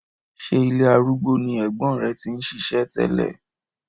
Ṣé ilé arúgbó ni ẹ̀gbọ́n rẹ ti ń ṣiṣẹ́ tẹ́lẹ̀?